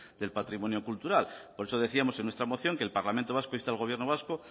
del patrimonio cultural por eso decíamos en nuestra moción que el parlamento vasco insta al gobierno vasco